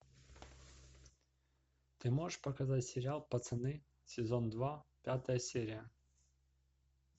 ты можешь показать сериал пацаны сезон два пятая серия